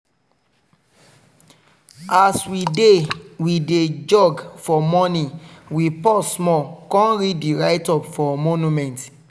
as we dey we dey jog for morning we pause small con read di write-up for monument.